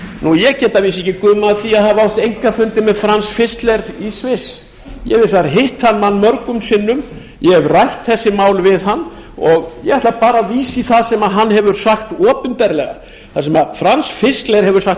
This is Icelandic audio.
ég get að vísu ekki gumað af því að hafa átt einkafundi með fram fischler í sviss ég hef hins vegar hitt þann mann mörgum sinnum ég hef rætt þessi mál við hann og ég ætla bara að vísa í það sem fram fischler hefur sagt